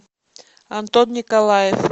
антон николаев